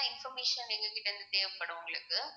information எங்ககிட்ட இருந்து தேவைப்படும் உங்களுக்கு